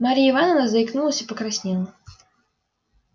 марья ивановна заикнулась и покраснела